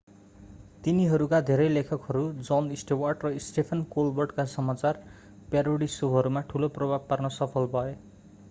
तिनीहरूका धेरै लेखकहरू jon stewart र stephen colbert का समाचार प्यारोडी शोहरूमा ठूलो प्रभाव पार्न सफल भए